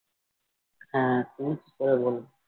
হ্যাঁ উফ তারপরে বলো